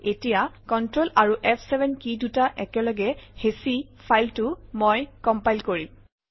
এতিয়া কন্ট্ৰল আৰু ফ7 কি দুটা একেলগে হেঁচি ফাইলটো মই কম্পাইল কৰিম